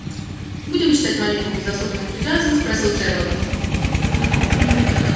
будем читать молитву без особого энтузиазма спросил джералд